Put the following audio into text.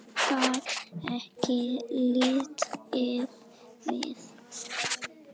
Ég gat ekki litið við.